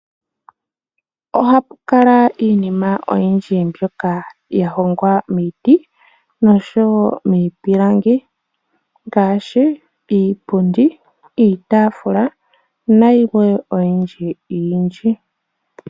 Ohapu kala iinima oyindji mbyoka ya hongwa miiti noshowo miipilangi ngaashi iipundi, iitaafula nayilwe oyindji yindji.